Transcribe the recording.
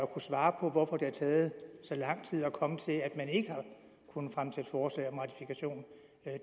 kunne svare på hvorfor det har taget så lang tid at komme frem til at man ikke har kunnet fremsætte forslag om ratifikation